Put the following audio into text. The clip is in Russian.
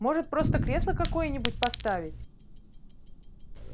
может просто кресло какое-нибудь поставить